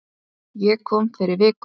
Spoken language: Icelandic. Ég kom fyrir viku